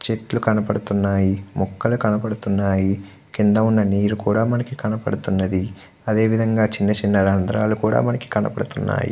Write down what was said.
చేతుల్లు కనిపిస్తునై. మోకాళ్ళు కనిపిస్తునై. కింద వున్నా నేరు కూడా మనకి కనిపిస్తుంది. అదే విధం గ చిన్న చిన్న రందరాళ్ళు కూడా మనకి కనిపిస్తునై.